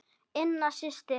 Ína systir.